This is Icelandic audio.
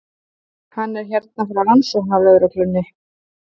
Hann er hérna frá rannsóknarlögreglunni.